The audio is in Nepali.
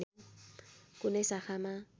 कुनै शाखामा